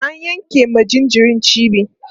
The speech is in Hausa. an yanke ma jinjirin cibi